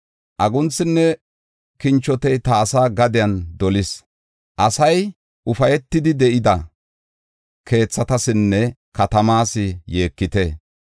Agunthinne kinchotey ta asaa gadiyan dolis. Asay ufaytidi de7ida keethatasinne katamaas yeekite.